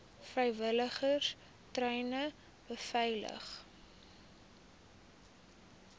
vrywilligers treine beveilig